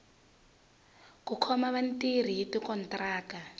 ku khoma vatirhi hi tikontiraka